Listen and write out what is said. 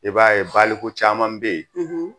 I b'a ye baliku caman bɛ yen